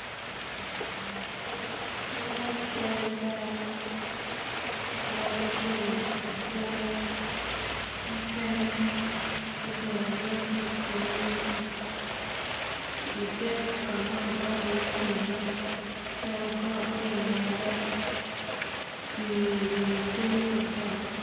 man cal dano ma giti ka kwang mukene gubedo abeda ki itenge ite kama kigwokko iye tibo cal got ti i ngette pii orumo kenyo ki got